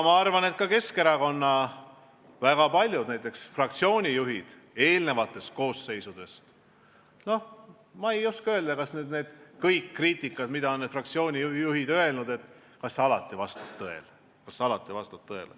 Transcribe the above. Ma ei oska öelda, kas kriitika, mida on teinud Keskerakonna fraktsiooni juhid eelmistes koosseisudes, on alati tõele vastanud.